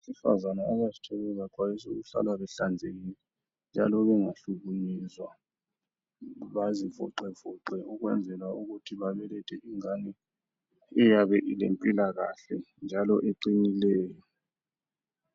Abesifazana abazithweleyo baxwayiswa ukuthi bahlale behlanzekile njalo bangahlukuluzwa. Belule imizimba ukwenzela ukuthi babelethe ingane eyabe ilempilakahle njalo eqinileyo.